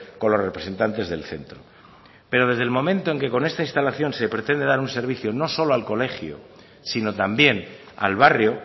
con los representantes del centro pero desde el momento en que con esta instalación se pretende dar un servicio no solo al colegio sino también al barrio